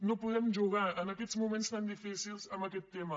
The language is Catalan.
no podem jugar en aquests moments tan difícils amb aquest tema